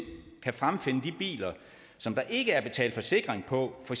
kan fremfinde de biler som der ikke er betalt forsikring på for